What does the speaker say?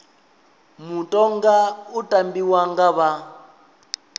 mutoga u tambiwa nga vha